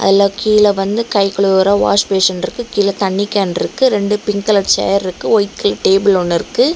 எல்லா கீழே வந்து கை கழுவுற வாஷ்பேஷன் இருக்கு கீழ தண்ணி கேன்ருக்கு ரெண்டு பிங்க் கலர் சேர் இருக்கு ஒயிட் கலர் டேபிள் ஒன்னுருக்கு.